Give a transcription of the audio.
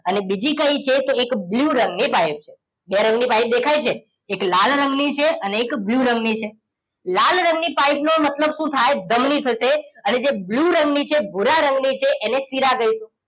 અને બીજી કઈ છે એક બ્લૂ રંગ ની પાઇપ બે રંગ ની પાઇપ દેખાય છે એક લાલ રંગની છે અને એક બ્લૂ રંગ ની છે. લાલ રંગની બ્લૂ નો મતલબ શું થાય ધમની થશે અને જે બ્લૂ એ રંગની છે ભૂરા રંગ ની છે એને શીરા કહીએ